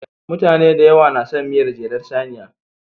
Mutane da yawa na son miyar jelar saniya.